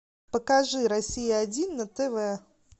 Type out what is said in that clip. покажи россия один на тв